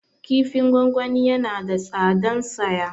Kifin gwangwani yana da tsadan saya